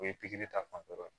O ye pikiri ta fanfɛ ye